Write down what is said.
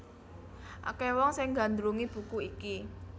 Akèh wong sing nggandrungi buku iki